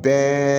Bɛɛ